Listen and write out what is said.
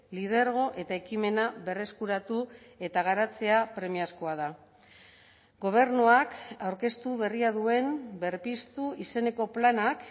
lidergo eta ekimena berreskuratu eta garatzea premiazkoa da gobernuak aurkeztu berria duen berpiztu izeneko planak